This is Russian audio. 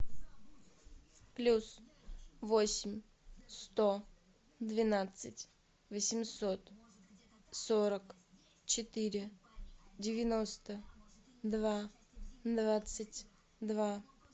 плюс восемь сто двенадцать восемьсот сорок четыре девяносто два двадцать два